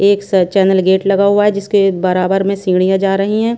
एक स channel gate लगा हुआ है जिसके बराबर में सीढियां जा रही हैं।